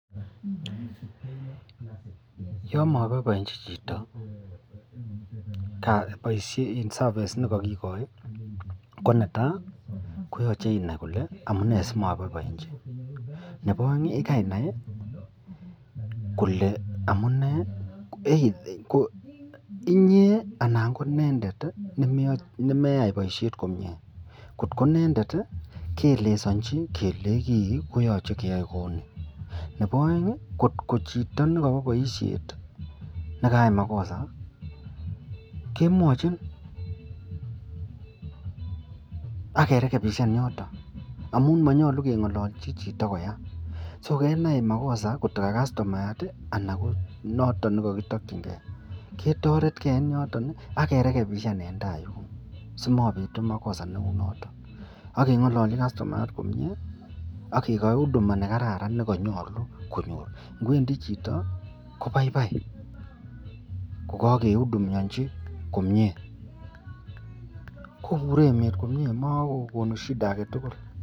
ya mabaibaienji jito baishet (service)nekakigoi konetai koyache inainkole amunee simabaibaienji ,Nebo aeng ko yikainai Kole amunee koinyee anan koinendet nemeyai baishet komie kot ko inendet keelesanchibkelenchi kibkoyache keyae kouni Nebo aeng kot ko Chito nekayai makosa kemwachin akerekebishan yoton amun mayache kengalalchi Chito koyait (so) Kenai makosa noton kakitakingeibketaret gei en yoton akerekebishan en tai yin simabitu makosa neuniton agengalanchi kastomayat komie ak kekachi huduma komie nekararan nekanyalu konyor ak ingwendi Chito kobaibaibkokakeudumianji komie koburen emet komie akomashida agetugul.